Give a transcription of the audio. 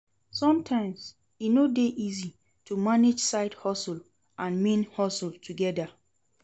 Sometimes e no de easy to manage side hustle and main hustle together